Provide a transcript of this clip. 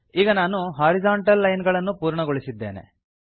ಈಗ ನಾನು horizontal line ಗಳನ್ನು ಪೂರ್ಣಗೊಳಿಸಿದ್ದೇನೆ